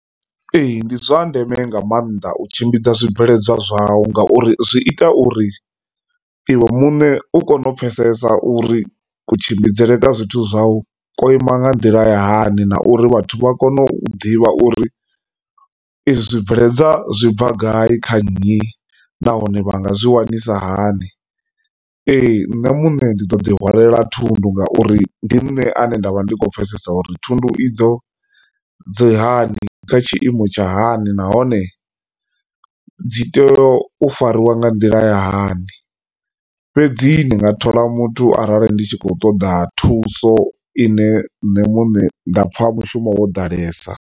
Ee, ndi zwa ndeme nga maanḓa u tshimbidza zwibveledzwa zwau ngauri zwi ita uri iwe muṋe u kone u pfhesesa uri kutshimbidzele kwa zwithu zwau ko ima nga nḓila ya hani na uri vhathu vha kone u ḓivha uri ezwi zwibveledzwa zwi bva gai kha nnyi nahone vha nga zwi wanisisa hani. Ee, nṋe muṋe ndi to ḓi hwala thundu ngauri ndi nṋe ane nda vha ndi khou pfhesesa uri thundu idzo dzi hani kha tshiimo tsha hani nahone dzi tea u fariwa nga nḓila ya hani. Fhedzi ni nga thola muthu arali ndi tshi khou ṱoḓa thuso ine nṋe muṋe nda pfha mushumo wo ḓalesa.